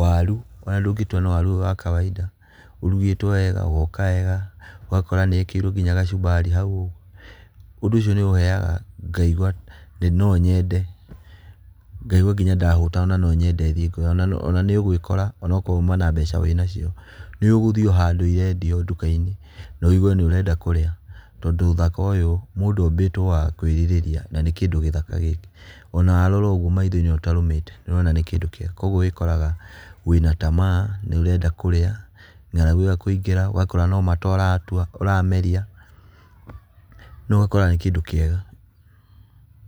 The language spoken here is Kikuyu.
Waru ona ndũngĩtua nĩ waru ũyũ wa kawaida. Ũrugĩtwo wega ũgoka wega ũgakora nĩ wekĩrirwo nginya gacubari hau ũguo. Ũndũ ũcio nĩ ũheaga ngaigũa no nyende, ngaigua nginya ndahũta ona no nyende thiĩ kũrĩa. Ona nĩũgũĩkora korũo uma na mbeca wĩ nacio nĩ ũgũthiĩ handũ cirendio duka-inĩ na wigue nĩ urenda kũrĩa tondu uthaka ũyũ mũndũ obĩtwo wa kwĩrirĩria na nĩ kĩndũ gĩthaka gĩkĩ ona warora ũguo maitho-inĩ ũtarũmĩte nĩ ũtonga nĩ kĩndũ kĩega koguo wĩ koraga wĩ na tamaa nĩ ũrenda kũrĩa ng'aragu ĩgakũingĩra ũgakora no mata ũratua, ũrameria no ũgakora nĩ kĩndũ kĩega.